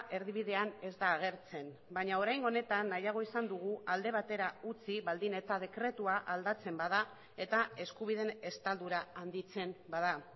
erdibidean ez da agertzen baina oraingo honetan nahiago izan dugu alde batera utzi baldin eta dekretua aldatzen bada eta eskubideen estaldura handitzen bada